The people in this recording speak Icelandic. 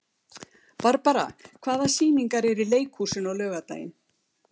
Barbara, hvaða sýningar eru í leikhúsinu á laugardaginn?